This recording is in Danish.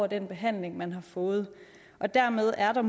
den behandling man har fået dermed er der